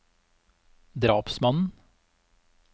drapsmannen